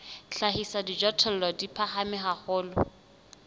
hlahisa dijothollo di phahame haholo